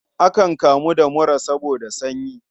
Akan kamu da mura saboda sanyi.